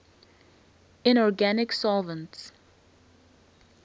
inorganic solvents